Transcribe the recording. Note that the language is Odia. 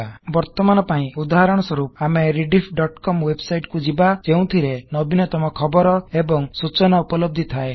ବର୍ତମାନ ପାଇଁ ଉଦାହରଣ ସ୍ବରପ ଆମେ rediffକମ୍ ୱେବସାଇଟ କୁ ଯିବା ଯେଉଁଥିରେ ନବୀନତମ ଖବର ଏବଂ ସୂଚନା ଉପଲବ୍ଧି ଥାଏ